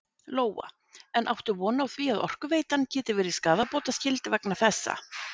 Lóa: En áttu von á því að Orkuveitan geti verið skaðabótaskyld vegna þessa?